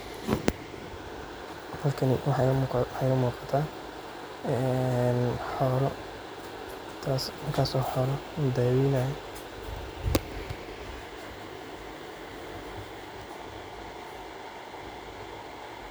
Ee halkani waxaa igala muqo waa xola kaso oo xolaha ladaweynayo.